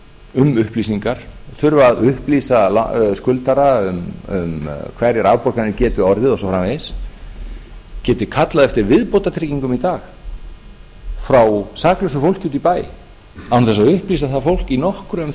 um upplýsingar þurfa að upplýsa skuldara um hverjar afborganir geti orðið og svo framvegis geti kallað eftir viðbótartryggingum í dag frá saklausu fólki úti í bæ án þess að upplýsa það fólk í nokkru um